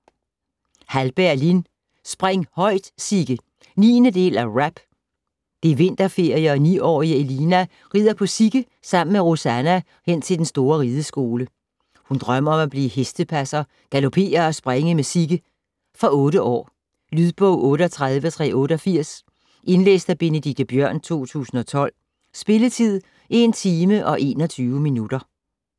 Hallberg, Lin: Spring højt, Sigge 9. del af RAP. Det er vinterferie og 9-årige Elina ridder på Sigge sammen med Rosanna hen til den store rideskole. Hun drømmer om at blive hestepasser, galloppere og springe med Sigge. Fra 8 år. Lydbog 38388 Indlæst af Benedikte Bjørn, 2012. Spilletid: 1 timer, 21 minutter.